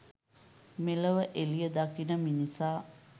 මෙලොව එළිය දකින මිනිසා